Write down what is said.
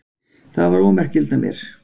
Það var ómerkilegt af mér.